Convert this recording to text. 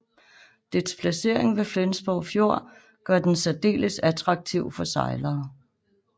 Dets placering ved Flensborg Fjord gør den særdeles attraktiv for sejlere